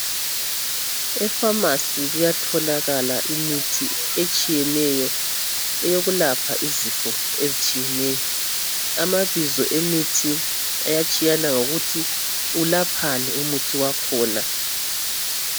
Efamasi kuyatholakala imithi etshiyeneyo, eyokulapha izifo ezitshiyeneyo. Amabizo emithi ayatshiyana ngokuthi ilaphani umuthi wakhona.